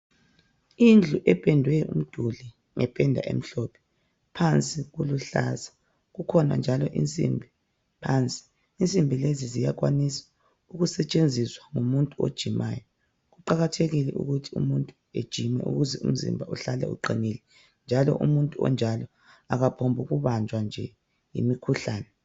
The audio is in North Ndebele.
Indlu ependwe umduli ngependa emhlophe phansi kuluhlaza kukhona njalo insimbi phansi insimbi lezi ziyakwanisa ukusetshenziswa ngumuntu ojimayo kuqakathekile ukuthi umuntu ejime ukuze umzimba uhlale uqinile njalo umuntu onjalo akaphombuku banjwa nje yimikhuhlane.